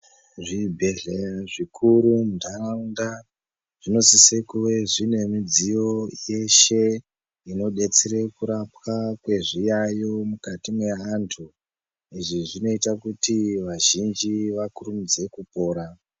Zvibhedhleya zvikuru muntaraunda zvinosise kuve zvine midziyo yeshe. Inobetsere kurapwa kwezviyayo mukati mweantu. Izvi zvinota kuti vazhinji vakurumidze kupora.